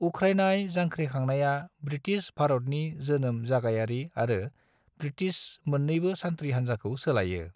उख्रायनाय जांख्रिखांनाया ब्रिटिस भारतनि जोनोम जायगायारि आरो ब्रिटिस मोननैबो सान्थ्रि हानजाखौ सोलायो।